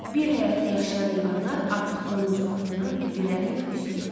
Bir həyətdə yaşayan heyvanlar artıq bunun ucbatından bir-birləri ilə küsülü idilər.